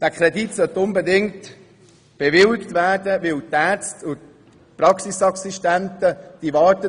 Dieser Kredit sollte unbedingt bewilligt werden, weil die Ärzte und die Praxisassistenten darauf warten.